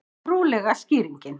Trúarlega skýringin